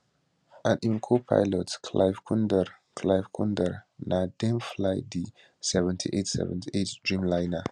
and im copilot clive kundar clive kundar na dem fly di 7878 dreamliner